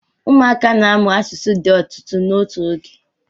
ụmụaka na-amụ asụsụ di otutu n'otu oge